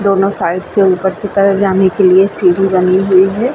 दोनों साइड से उपर की तरफ जाने के लिए सीढ़ी बनी हुई है।